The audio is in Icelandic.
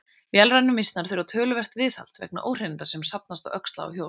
Vélrænu mýsnar þurfa töluvert viðhald vegna óhreininda sem safnast á öxla og hjól.